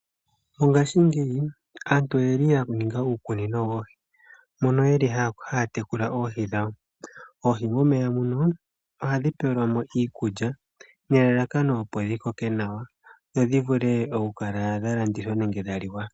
Mongashingeyi, aantu oyeli ya ninga uukunino woohi, mono yeli haya tekula oohi dhawo. Oohi momeya muno, ohadhi pelwamo iikulya, nelalakano opo dhi koke nawa, dho dhi vule oku kala dha landithwa nenge dha liwa.